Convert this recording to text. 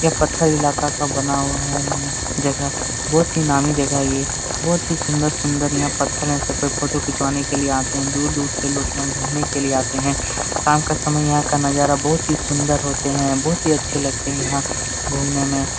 यह पत्थर इलाका का बना हुआ है यहां जगह बहुत ही नामी जगह है ये बहुत ही सुन्दर सुन्दर यहाँ पत्थर है यहाँ सबकोई फोटो खिचवाने के लिए आते है दूर दूर से लोग यहाँ घूमने के लिए आते है शाम के समय यहाँ का नजारा यहाँ का बहुत ही सुन्दर होते है बहुत अच्छे लगते है यहाँ घूमने में।